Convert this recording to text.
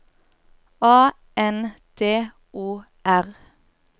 A N D O R